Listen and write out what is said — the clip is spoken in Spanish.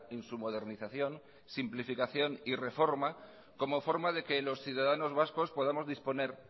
en su modernización simplificación y reforma como forma de que los ciudadanos vascos podamos disponer